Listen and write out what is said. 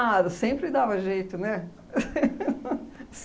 Ah, sempre dava jeito, né?